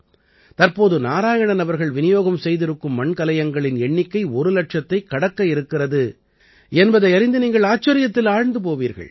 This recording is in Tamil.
தற்போது நாராயணன் அவர்கள் விநியோகம் செய்திருக்கும் மண்கலயங்களின் எண்ணிக்கை ஒரு இலட்சதைக் கடக்க இருக்கிறது என்பதை அறிந்து நீங்கள் ஆச்சரியத்தில் ஆழ்ந்து போவீர்கள்